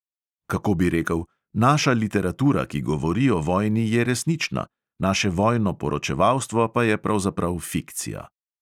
Kako bi rekel, naša literatura, ki govori o vojni, je resnična, naše vojno poročevalstvo pa je pravzaprav fikcija.